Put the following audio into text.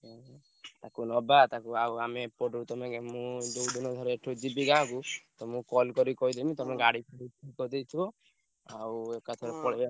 ହୁଁ। ତାକୁ ନବା ତାକୁ ଆଉ ଆମେ ଏପଟୁ ତମେ ମୁଁ ଯୋଉଦିନ ଘରେ ଏଠୁ ଯିବି ଗାଁକୁ ତମୁକୁ call କରି କହିଦେବି ତମେ ଗାଡି ଫାଡି କି କହିଦେଇଥିବ। ଆଉ ଏକାଥରେ